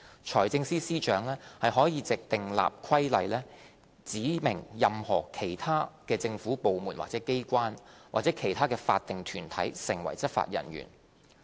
財政司司長可藉訂立規例，指明任何其他政府部門或機關或其他法定團體成為執法人員。